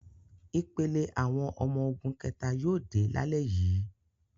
Ìpele àwọn ọmọ ogun kẹ̀ta yóò dé lálẹ́ yìí.